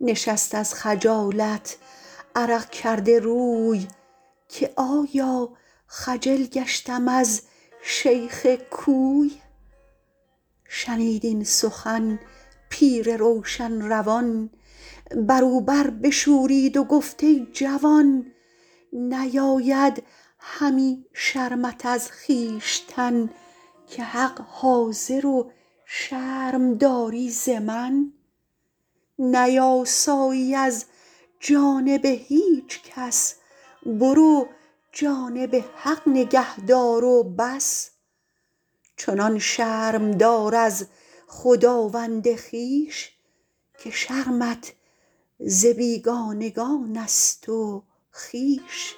نشست از خجالت عرق کرده روی که آیا خجل گشتم از شیخ کوی شنید این سخن پیر روشن روان بر او بر بشورید و گفت ای جوان نیاید همی شرمت از خویشتن که حق حاضر و شرم داری ز من نیاسایی از جانب هیچ کس برو جانب حق نگه دار و بس چنان شرم دار از خداوند خویش که شرمت ز بیگانگان است و خویش